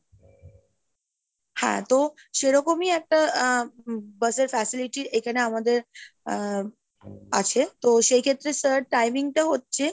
হ্যাঁ তো সেরকমই একটা আহ bus এর facility এখানে আমাদের আহ আছে, তো সেই ক্ষেত্রে sir timing টা হচ্ছে,